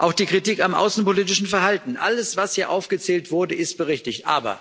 Auch die Kritik am außenpolitischen Verhalten alles, was hier aufgezählt wurde, ist berechtigt.